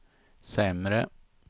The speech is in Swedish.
sämre